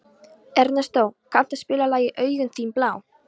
Ernestó, kanntu að spila lagið „Augun þín blá“?